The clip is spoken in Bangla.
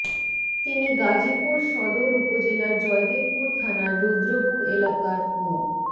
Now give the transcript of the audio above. তিনি গাজীপুর সদর উপজেলার জয়দেবপুর থানার রুদ্রপুর এলাকার মো